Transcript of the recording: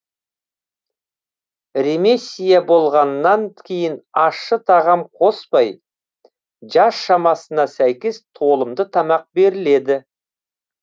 ремиссия болғаннан кейін ащы тағам қоспай жас шамасына сәйкес толымды тамақ беріледі